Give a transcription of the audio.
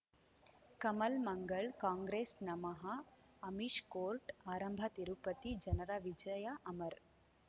ಕಮಲ್ ಮಂಗಳ್ ಕಾಂಗ್ರೆಸ್ ನಮಃ ಅಮಿಷ್ ಕೋರ್ಟ್ ಆರಂಭ ತಿರುಪತಿ ಜನರ ವಿಜಯ ಅಮರ್